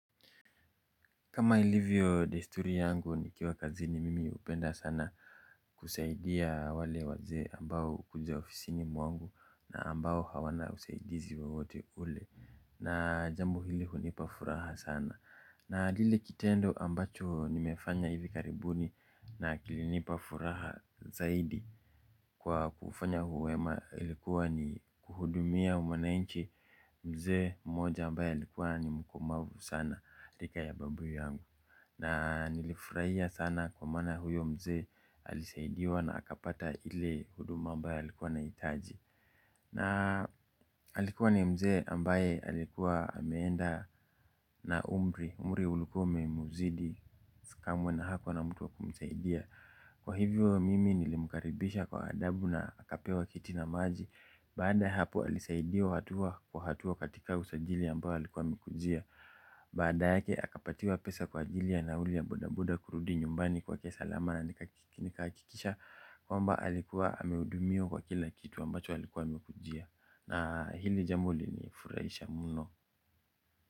Kama ilivyo desturi yangu nikiwa kazini mimi hupenda sana kusaidia wale wazee ambao hukuja ofisini mwangu na ambao hawana usaidizi wowote ule na jambo hili hunipa furaha sana. Na lile kitendo ambacho nimefanya hivi karibuni na kilinipa furaha zaidi kwa kufanya wema ilikuwa ni kuhudumia mwananchi mzee mmoja ambaye alikuwa ni mkomavu sana rika ya babu yangu. Na nilifurahia sana kwa maana huyo mzee alisaidiwa na akapata ile huduma ambayo alikuwa nahitaji. Na alikuwa ni mzee ambaye alikuwa ameenda na umri, umri ulikuwa umemzidi kamwe na hakua na mtu wa kumsaidia. Kwa hivyo mimi nilimkaribisha kwa adabu na akapewa kiti na maji. Baada ya hapo alisaidiwa hatua kwa hatua katika usajili ambao alikuwa amekujia. Baada yake akapatiwa pesa kwa ajili ya nauli ya bodaboda kurudi nyumbani kwake salama na nikahakikisha kwamba alikuwa amehudumiwa kwa kila kitu ambacho alikuwa amekujia. Na hili jambo linifurahisha mno.